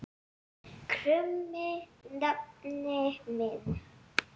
krummi nafni minn.